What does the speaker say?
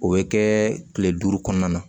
O bɛ kɛ kile duuru kɔnɔna na